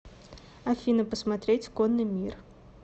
афина посмотреть конный мир